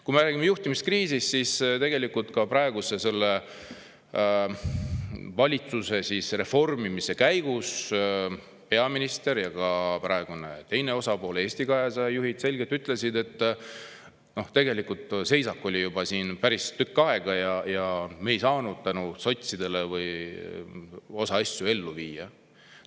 Kui me räägime juhtimiskriisist, siis tegelikult ka praeguse valitsuse reformimise käigus peaminister ja ka teise osapoole, Eesti 200 juhid selgelt ütlesid, et seisak oli juba päris tükk aega, aga nad ei saanud sotside mingeid asju ellu viia.